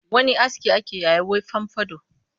Wani aski ake yayi was fomfado